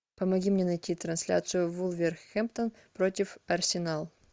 помоги мне найти трансляцию вулверхэмптон против арсенал